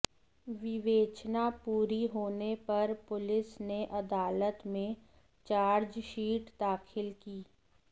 विवेचना पूरी होने पर पुलिस ने अदालत में चार्जशीट दाखिल की